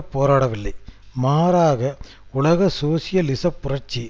போராடவில்லை மாறாக உலக சோசியலிச புரட்சி